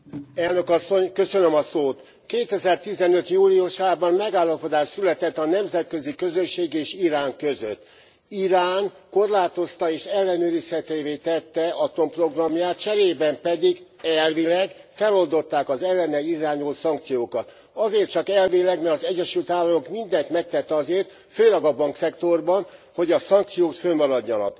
Elnök Asszony! 2015 júliusában megállapodás született a nemzetközi közösség és Irán között. Irán korlátozta és ellenőrizhetővé tette atomprogramját, cserében pedig elvileg feloldották az ellene irányuló szankciókat. Azért csak elvileg, mert az Egyesült Államok mindent megtett azért, főleg a bankszektorban, hogy a szankciók fönnmaradjanak.